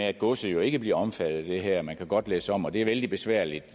at godset ikke bliver omfattet af det her og man kan godt læsse om og det er vældig besværligt